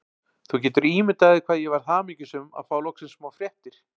Þú getur ímyndað þér hvað ég varð hamingjusöm að fá loksins smá fréttir.